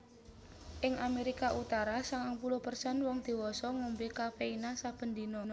Ing Amerika Utara sangang puluh persen wong diwasa ngombe kafeina saben dina